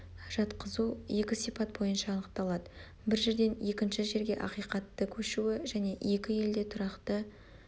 жатқызу екі сипат бойынша анықталады бір жерден екінші жерге ақиқатты көшуі және екі елде тұрақты